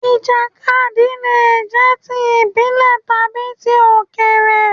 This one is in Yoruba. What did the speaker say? Ìjàkadì le è jẹ́ ti ìbílè tàbi ti Òkèrè